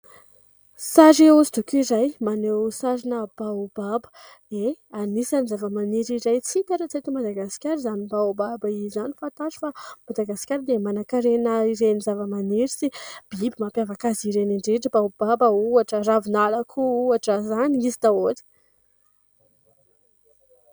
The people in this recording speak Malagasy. Sary hosodoko iray maneho sarina baobaba, ie, anisany zava-maniry izay tsy hita raha tsy eto Madagasikara izany baobaba izany, fantaro fa i Madagasikara dia manakarena ireny zava-maniry sy biby mampiavaka azy ireny indrindra, baobaba ohatra, ravinala koa ohatra, izany izy daholo.